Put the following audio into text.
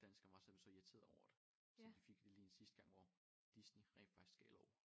Dansker var simpelthen så irriteret over det så vi fik det lige en sidste gang hvor Disney rent faktisk gav lov